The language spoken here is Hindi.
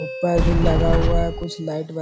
ऊपर भी लगा हुआ है कुछ लाइट --